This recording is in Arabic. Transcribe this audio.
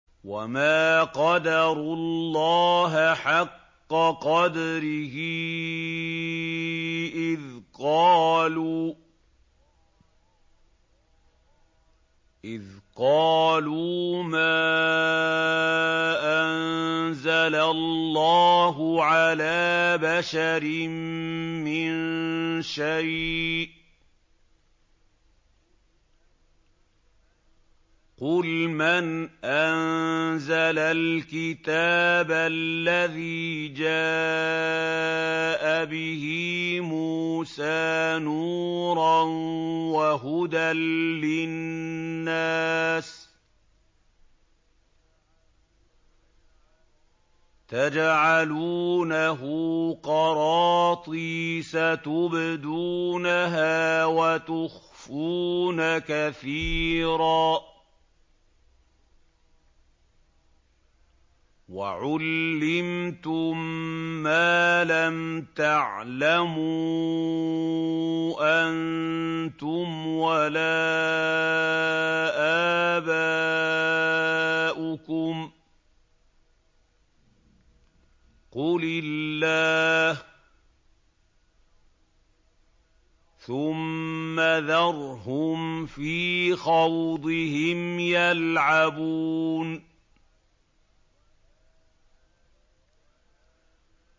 وَمَا قَدَرُوا اللَّهَ حَقَّ قَدْرِهِ إِذْ قَالُوا مَا أَنزَلَ اللَّهُ عَلَىٰ بَشَرٍ مِّن شَيْءٍ ۗ قُلْ مَنْ أَنزَلَ الْكِتَابَ الَّذِي جَاءَ بِهِ مُوسَىٰ نُورًا وَهُدًى لِّلنَّاسِ ۖ تَجْعَلُونَهُ قَرَاطِيسَ تُبْدُونَهَا وَتُخْفُونَ كَثِيرًا ۖ وَعُلِّمْتُم مَّا لَمْ تَعْلَمُوا أَنتُمْ وَلَا آبَاؤُكُمْ ۖ قُلِ اللَّهُ ۖ ثُمَّ ذَرْهُمْ فِي خَوْضِهِمْ يَلْعَبُونَ